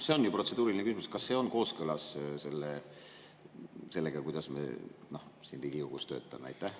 See on ju protseduuriline küsimus: kas see on kooskõlas sellega, kuidas me siin Riigikogus töötame?